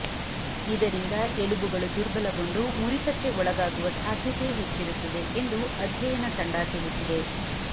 ಇದರಿಂದ ಎಲುಬುಗಳು ದುರ್ಬಲಗೊಂಡು ಮುರಿತಕ್ಕೆ ಒಳಗಾಗುವ ಸಾಧ್ಯತೆ ಹೆಚ್ಚಿರುತ್ತದೆ ಎಂದು ಅಧ್ಯಯನ ತಂಡ ತಿಳಿಸಿದೆ